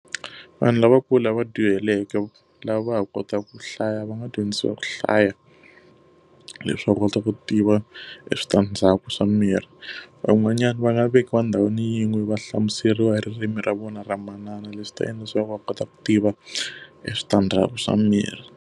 Vanhu lavankulu lava dyuhaleke lava va ha kotaka ku hlaya va nga dyondzisiwa ku hlaya leswaku va kota ku tiva switandzhaku swa miri. Van'wanyani va nga vekiwa ndhawini yin'we va hlamuseriwa hi ririmi ra vona ra manana leswi ta endla leswaku va kota ku tiva eswitandzhaku swa miri.